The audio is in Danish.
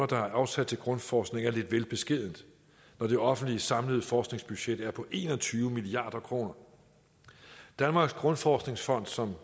der er afsat til grundforskning er lidt vel beskedent når det offentliges samlede forskningsbudget er på en og tyve milliard kroner danmarks grundforskningsfond som